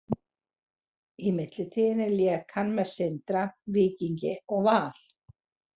Í millitíðinni lék hann með Sindra, Víkingi og Val.